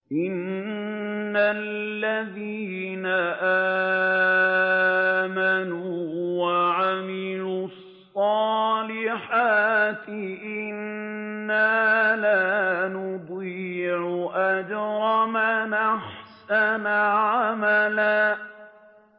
إِنَّ الَّذِينَ آمَنُوا وَعَمِلُوا الصَّالِحَاتِ إِنَّا لَا نُضِيعُ أَجْرَ مَنْ أَحْسَنَ عَمَلًا